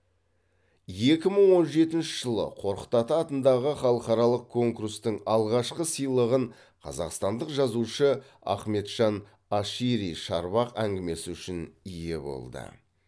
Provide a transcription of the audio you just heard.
екі мың он жетінші жылы қорқыт ата атындағы халықаралық конкурстың алғашқы сыйлығын қазақстандық жазушы ахметжан ашири шарбақ әңгімесі үшін ие болды